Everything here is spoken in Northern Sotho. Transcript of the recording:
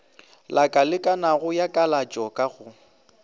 lakalekanago ya kalatšo ka go